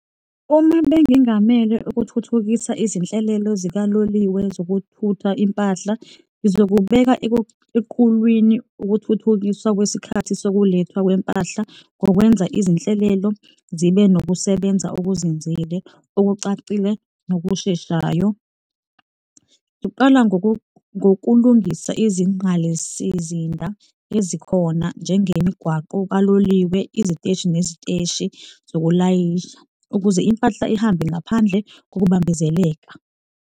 Uma bengingamele ukuthuthukisa izinhlelelo zikaloliwe zokuthutha impahla, ngizokubeka equlwini ukuthuthukiswa kwesikhathi sokulethwa kwempahla ngokwenza izinhlelelo zibe nokusebenza okuzinzile, okucacile nokusheshayo. Uqala ngokulungisa izingqalesizinda ezikhona, njengemigwaqo kaloliwe, iziteshi neziteshi zokulayisha, ukuze impahla ihambe ngaphandle kokubambezeleka.